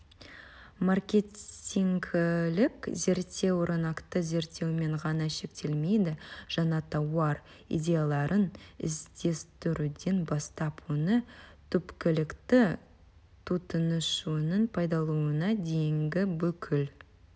маркетингілік зерттеу рынокты зерттеумен ғана шектелмейді жаңа тауар идеяларын іздестіруден бастап оны түпкілікті тұтынушының пайдалануына дейінгі бүкіл